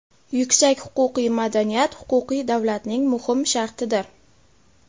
Yuksak huquqiy madaniyat – huquqiy davlatning muhim shartidir.